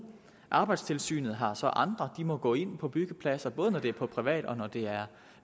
arbejdstilsynet har så andre de må gå ind på byggepladser både når det er på privat og når det er